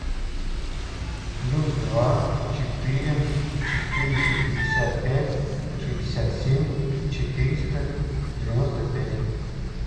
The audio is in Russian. плюс два четыре четыреста пятьдесят пять шестьдесят семь четыреста девяносто пять